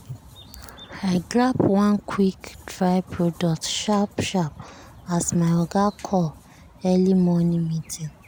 i grab one quick-dry product sharp sharp as my oga call early morning meeting.